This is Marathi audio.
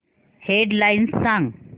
हेड लाइन्स सांग